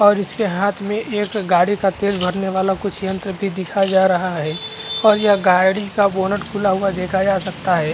और इसके हाथ में एक गाड़ी का तेल भरने वाला कुछ यंत्र भी दिखा जा रहा है और ये गाड़ी का बोनट खुला हुआ देखा जा सकता है।